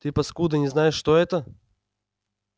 ты паскуда не знаешь что это